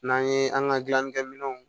N'an ye an ka gilannikɛ minɛnw